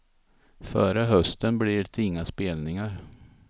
Före hösten blir det inga spelningar.